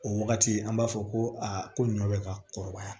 O wagati an b'a fɔ ko aa ko ɲɔ bɛ ka kɔrɔbaya